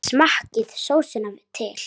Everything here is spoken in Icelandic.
Smakkið sósuna til.